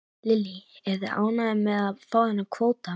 Lillý: Eruð þið ánægðir með að fá þennan kvóta?